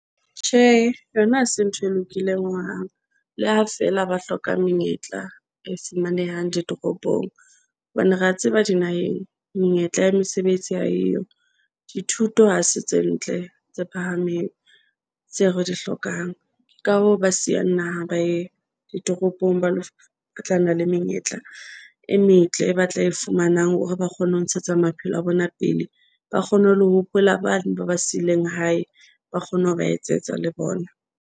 Tjhe, yona hase ntho e lokileng hohang. Le ha feela ba hloka menyetla e fumanehang ditoropong hobane re a tseba di naheng menyetla ya mesebetsi ha e yo dithuto ha se tse ntle tse phahameng tseo re di hlokang. Ka hoo, ba siyang naha ba ye ditoropong ba lo. Batlana le menyetla e metle, e batla e fumanang hore ba kgone ho ntshetsa maphelo a bona pele ba kgone ho le ho hopola, bane ba ba sileng hae ba kgone ho ba etsetsa le bona.